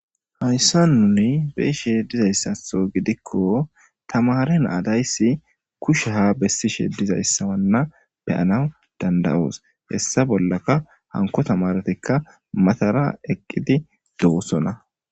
Hayssa nuni beeshe dizayssatho gidikko tamare naadayssi kushe ha bessishe diza issawanna beyana dandayoos , hessa bollaka hanko tamaretikka matara eqqidi doosona.